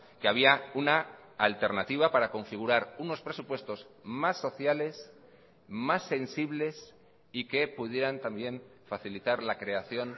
que había una alternativa para configurar unos presupuestos más sociales más sensibles y que pudieran también facilitar la creación